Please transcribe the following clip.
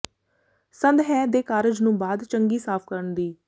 ਸੰਦ ਹੈ ਦੇ ਕਾਰਜ ਨੂੰ ਬਾਅਦ ਚੰਗੀ ਸਾਫ਼ ਕਰਨ ਦੀ